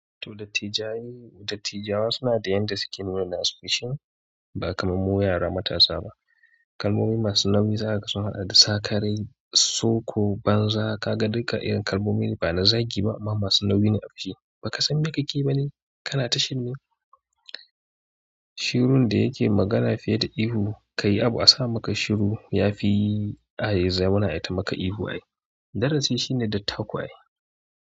To dattijayi, dattijawa suna da yadda suke nuna nasu fushin ba kamar mu yara matasa ba. Kalmomi masu nauyi za kaga sun haɗa da sakarai, soko, banza, kaga duka irin kalmomin ba na zagi ba amma masu nauyi ne a fili ba ka san meƙaƙe yi bane kana ta shirme. Shirun da yake magana fiye da ihu, ka yi abu a sa maka shiru yafi ayi zauna ai ta maka ihu ai. Darasin shine dattako ai.